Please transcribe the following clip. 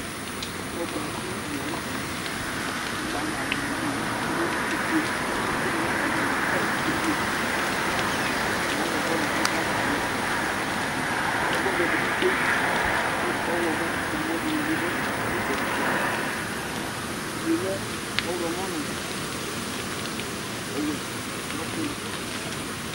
Ɔgba dìní la ntɛ Ɔgba alu wani adu ɔfʋe kʋ atsi nʋ atami alɔ yɛ ʋblu Azɛ ɛkʋɛdi kʋ akakɔsu ʋtikpa Ɛkʋ vɛ di bi tsʋe Ɔwlɔmɔ dìní bi du itsɛdi tsɛdi Ʋgli ye lɛ ɔwlɔmɔ nʋ ɔwɛ nʋ ɔtili